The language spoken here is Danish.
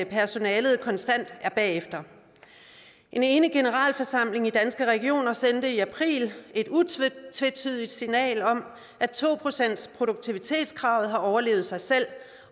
personalet konstant er bagefter en enig generalforsamling i danske regioner sendte i april et utvetydigt signal om at to procentsproduktivitetskravet har overlevet sig selv